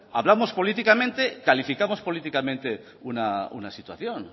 hablamos políticamente calificamos políticamente una situación